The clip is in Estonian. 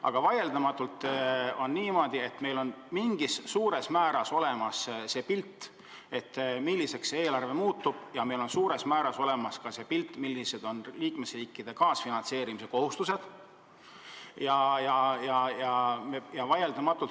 Aga vaieldamatult on niimoodi, et meil on enam-vähem olemas pilt, milliseks see eelarve saab, ka on meil suuremas osas olemas pilt, millised on liikmesriikide kaasfinantseerimise kohustused.